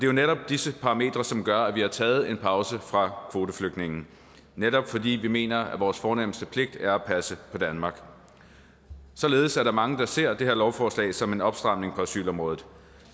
jo netop disse parametre som gør at vi har taget en pause fra at tage kvoteflygtninge netop fordi vi mener at vores fornemste pligt er at passe på danmark således er der mange der ser det her lovforslag som en opstramning på asylområdet